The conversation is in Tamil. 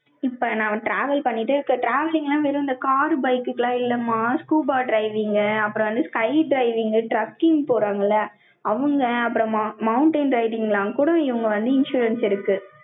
இப்ப நான் travel பண்ணிட்டு, இப்ப traveling எல்லாம் வெறும் இந்த car, bike க்கெல்லாம் இல்லம்மா, scuba driving அப்புறம் வந்து sky driving, trucking போறாங்கல்ல, அவங்க, அப்புறமா, mountain riding எல்லாம் கூட, இவங்க வந்து, insurance இருக்கு.